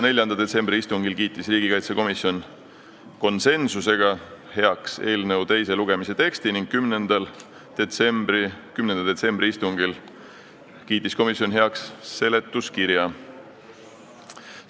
4. detsembri istungil kiitis komisjon konsensusega heaks eelnõu teise lugemise teksti ning 10. detsembri istungil seletuskirja.